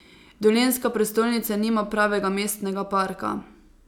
Dolenjska prestolnica nima pravega mestnega parka.